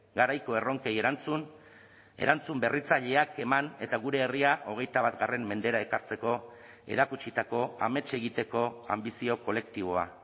garaiko erronkei erantzun erantzun berritzaileak eman eta gure herria hogeita bat mendera ekartzeko erakutsitako amets egiteko anbizio kolektiboa